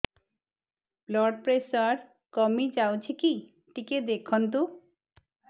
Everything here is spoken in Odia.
ବ୍ଲଡ଼ ପ୍ରେସର କମି ଯାଉଛି କି ଟିକେ ଦେଖନ୍ତୁ